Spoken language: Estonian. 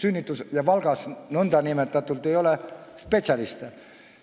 Valgas ei ole ju nõndanimetatud spetsialiste.